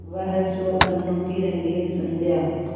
वह स्वप्नों की रंगीन संध्या